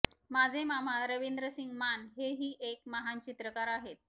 माझे मामा रवींद्रसिंग मान हे ही एक महान चित्रकार आहेत